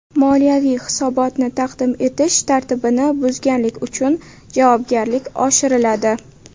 Moliyaviy hisobotni taqdim etish tartibini buzganlik uchun javobgarlik oshiriladi.